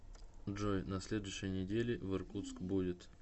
джой на следующей неделе в иркутск будет